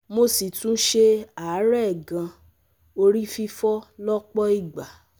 Mo si tún se aarẹ̀ gan, ori fifo lọ́pọ̀ ìgbà